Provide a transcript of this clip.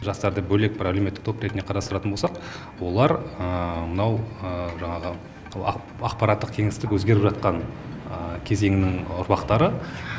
жастарды бөлек бір әлеуметтік топ ретінде қарастыратын болсақ олар мынау жаңағы ақпараттық кеңістік өзгеріп жатқан кезеңнің ұрпақтары